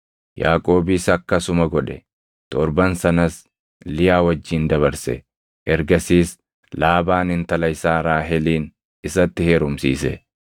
Yaaqoobis akkasuma godhe. Torban sanas Liyaa wajjin dabarse; ergasiis Laabaan intala isaa Raahelin isatti heerumsiise.